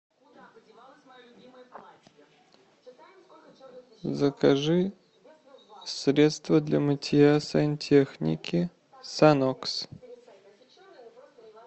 закажи средство для мытья сантехники санокс